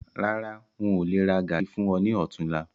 Rárá, ń ó lè rà gàárì fún ọ ní otunla